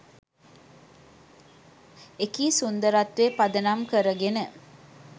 එකී සුන්දරත්වය පදනම් කරගෙන